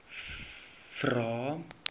vvvvrae